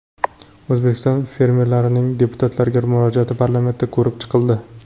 O‘zbekiston fermerlarining deputatlarga murojaati parlamentda ko‘rib chiqildi.